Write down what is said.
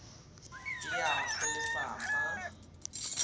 e ya go lefapha la